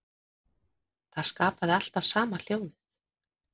Það skapaði alltaf sama hljóðið.